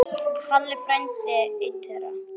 Halli frændi einn þeirra.